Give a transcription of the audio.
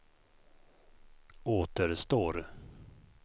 återstår